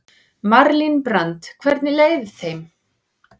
Malín Brand: Hvernig leið þeim?